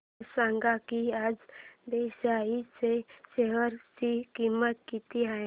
हे सांगा की आज बीएसई च्या शेअर ची किंमत किती आहे